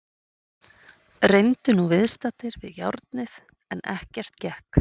Reyndu nú viðstaddir við járnið en ekkert gekk.